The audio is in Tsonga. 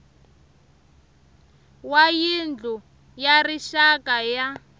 wa yindlu ya rixaka ya